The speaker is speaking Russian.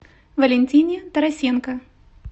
валентине тарасенко